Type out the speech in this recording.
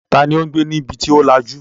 Ta ni ó ń gbé ní ibi tó lajú?